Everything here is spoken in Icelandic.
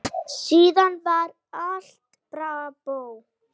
Síðan var allt bravó.